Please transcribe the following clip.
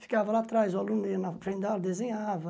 Ficava lá atrás, o aluno ia na frente da aula, desenhava.